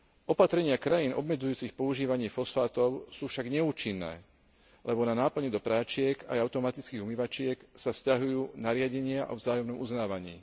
Opatrenia krajín obmedzujúcich používanie fosfátov sú však neúčinné, lebo na náplň do pračiek aj automatických umývačiek sa vzťahujú nariadenia o vzájomnom uznávaní.